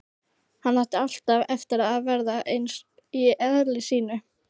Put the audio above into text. Hann átti alltaf eftir að verða eins í eðli sínu.